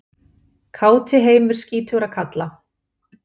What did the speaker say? Káti heimur skítugra kalla.